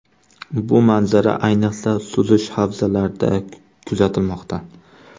Bu manzara, ayniqsa, suzish havzalarida kuzatilmoqda.